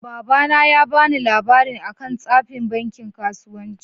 Baba na ya ba ni labarin akan tsafin banki kasuwanci.